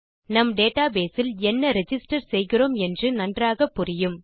நம் database இல் என்ன ரிஜிஸ்டர் செய்கிறோம் என்று நன்றாக புரியும்